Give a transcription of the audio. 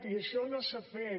i això no s’ha fet